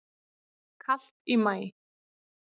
Kalt í maí